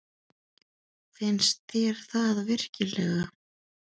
Finnst þér það virkilega?